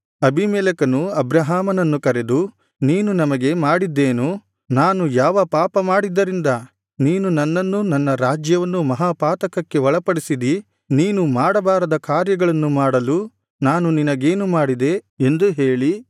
ಅಬೀಮೆಲೆಕನು ಅಬ್ರಹಾಮನನ್ನು ಕರೆದು ನೀನು ನಮಗೆ ಮಾಡಿದ್ದೇನು ನಾನು ಯಾವ ಪಾಪ ಮಾಡಿದ್ದರಿಂದ ನೀನು ನನ್ನನ್ನೂ ನನ್ನ ರಾಜ್ಯವನ್ನೂ ಮಹಾಪಾತಕಕ್ಕೆ ಒಳಪಡಿಸಿದಿ ನೀನು ಮಾಡಬಾರದ ಕಾರ್ಯಗಳನ್ನು ಮಾಡಲು ನಾನು ನಿನಗೇನು ಮಾಡಿದೆ ಎಂದು ಹೇಳಿ